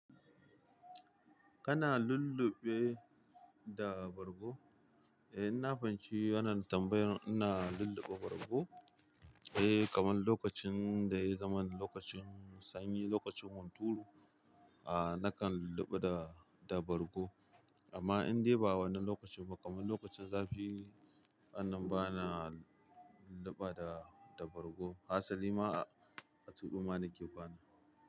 Kana lulluɓe da bargo? Eh, ina fahimci wannan tambayan. Ina lulluɓe bargo. Eh, kamar lokacin da ya zama lokacin sanyi, lokacin hunturu, a nakan lulluɓa da, da bargo. Amma in dai ba wani lokacin ba, kamar lokacin zafi, a nan bana lulluɓa da, da bargo. Hassali ma a, a tubu ma nake kwana.